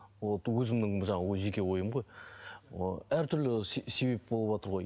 өзімнің жаңағы жеке ойым ғой әртүрлі себеп болыватыр ғой